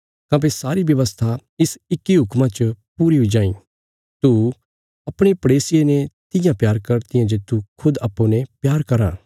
काँह्भई सारी व्यवस्था इसा इक्की हुक्मा च पूरा हुई जाईं तू अपणे पड़ेसिये ने तियां प्यार कर तियां जे तूं खुद अप्पूँ ने प्यार कराँ